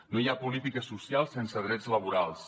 no hi ha polítiques socials sense drets laborals